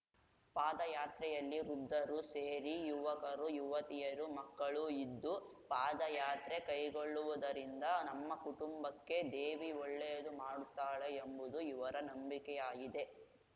ಪಾದಯಾತ್ರೆಯಲ್ಲಿ ವೃದ್ಧರು ಸೇರಿ ಯುವಕರು ಯುವತಿಯರು ಮಕ್ಕಳೂ ಇದ್ದೂ ಪಾದಯಾತ್ರೆ ಕೈಗೊಳ್ಳೊವುದರಿಂದ ನಮ್ಮ ಕುಟುಂಬಕ್ಕೆ ದೇವಿ ಒಳ್ಳೆಯದು ಮಾಡುತ್ತಾಳೆ ಎಂಬುದು ಇವರ ನಂಬಿಕೆಯಾಗಿದೆ